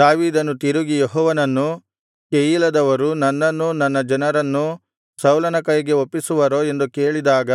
ದಾವೀದನು ತಿರುಗಿ ಯೆಹೋವನನ್ನು ಕೆಯೀಲದವರು ನನ್ನನ್ನೂ ನನ್ನ ಜನರನ್ನೂ ಸೌಲನ ಕೈಗೆ ಒಪ್ಪಿಸುವರೋ ಎಂದು ಕೇಳಿದಾಗ